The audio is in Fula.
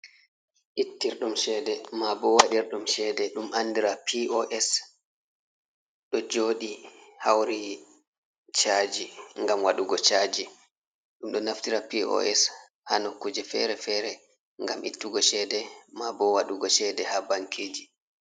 Ittirɗum cheede ma bo waɗir ɗum cheede ɗum andira pos ɗo jooɗi hauri chaaji ngam waɗugo chaaji, ɗum ɗo naftira pos hano kuje feere-feere ngam ittugo cheede ma bo waɗugo cheede ha bankiji.